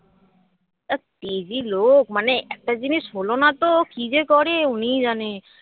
আঃ তেজি লোক মানে একটা জিনিস হল না তো কি যে করে উনিই জানে